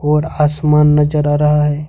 और आसमान नजर आ रहा है।